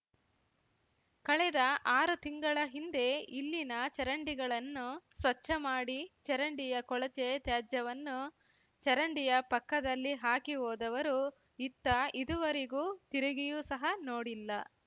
ಕಳೆದ ಆರು ತಿಂಗಳ ಹಿಂದೆ ಇಲ್ಲಿನ ಚರಂಡಿಗಳನ್ನು ಸ್ವಚ್ಚ ಮಾಡಿ ಚರಂಡಿಯ ಕೊಳಚೆ ತ್ಯಾಜ್ಯವನ್ನು ಚರಂಡಿಯ ಪಕ್ಕದಲ್ಲಿ ಹಾಕಿ ಹೋದವರು ಇತ್ತ ಇದುವರೆಗೂ ತಿರುಗಿಯೂ ಸಹ ನೋಡಿಲ್ಲ